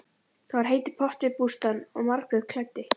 Það var heitur pottur við bústaðinn og Margrét klæddi